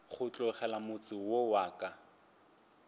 go tlogela motse wo ka